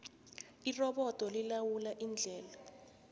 irobodo lilawula indlela